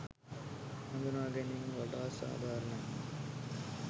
හඳුනාගැනීම වඩාත් සාධාරණයි.